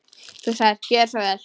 Þú sagðir: Gjörðu svo vel.